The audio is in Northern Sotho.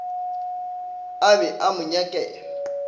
a be a mo nyakela